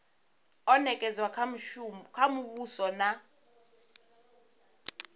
o nekedzwa kha muvhuso na